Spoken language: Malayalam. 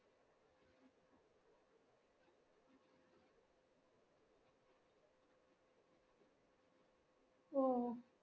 ഓ